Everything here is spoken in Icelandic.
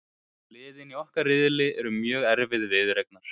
Liðin í okkar riðli eru mjög erfið viðureignar,